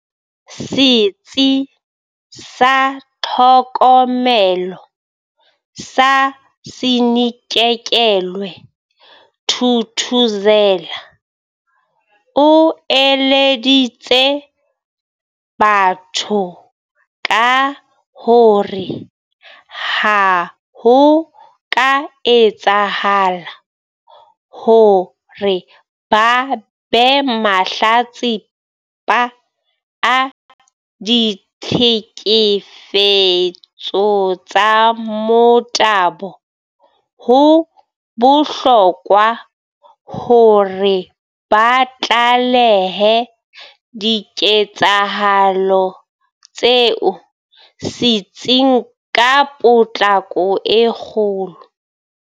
Setsi sa Tlhokomelo sa Sinakekelwe Thuthuzela, o eleditse batho ka hore ha ho ka etsahala hore ba be mahlatsipa a ditlhekefe tso tsa motabo, ho bohlokwa hore ba tlalehe diketsahalo tseo setsing ka potlako e kgolo.